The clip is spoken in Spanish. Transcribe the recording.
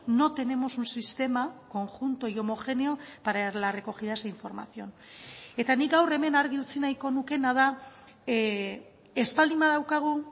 no tenemos un sistema conjunto y homogéneo para las recogidas de información eta nik gaur hemen argi utzi nahiko nukeena da ez baldin badaukagu